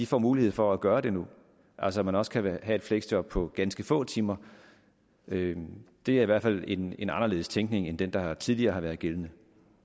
får mulighed for at gøre det nu altså at man også kan have et fleksjob på ganske få timer det det er i hvert fald en anderledes tænkning end den der tidligere har været gældende